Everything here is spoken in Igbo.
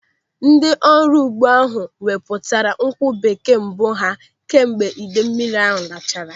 Ndị ọrụ ugbo ahụ wepụtara nkwụ bekee mbụ ha kemgbe idei mmiri lachara.